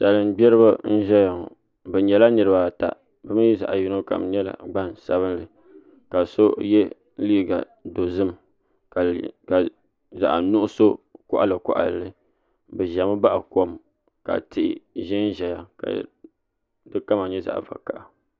Salin gbiribi n ʒɛya ŋo bi nyɛla niraba ata bi mii zaɣ yino kam nyɛla gban sabinli ka so yɛ liiga dozim ka zaɣ nuɣso koɣali koɣali li bi ʒɛmi baɣa kom ka tihi ʒɛnʒɛya ka di kama nyɛ zaɣ vakaɣa